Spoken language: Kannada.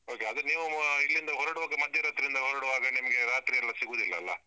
Okay ಅದು ನೀವು ಇಲ್ಲಿಂದ ಹೊರಡುವಾಗ, ಮಧ್ಯರಾತ್ರಿ ಇಂದ ಹೊರಡುವಾಗ ನಿಮ್ಗೆ ರಾತ್ರಿಯೆಲ್ಲಾ ಸಿಗುದಿಲ್ಲ ಅಲ್ಲ?